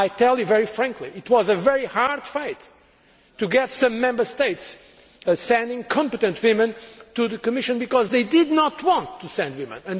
I can tell you very frankly that it was a very hard fight to get some Member States to send competent women to the Commission because they did not want to send women.